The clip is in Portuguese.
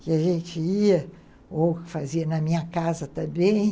Que a gente ia, ou fazia na minha casa também.